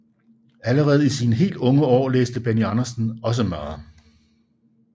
Allerede i sine helt unge år læste Benny Andersen også meget